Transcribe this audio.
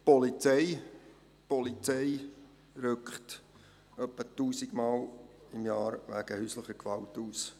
Die Polizei rückt etwa 1000 Mal pro Jahr wegen häuslicher Gewalt aus.